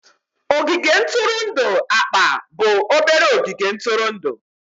Ogige ntụrụndụ akpa bụ obere ogige ntụrụndụ.